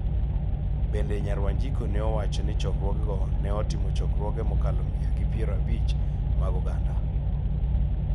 Bende, Nyar Wanjiku nowacho ni chokruogego ne otimo chokruoge mokalo mia gi piero abich mag oganda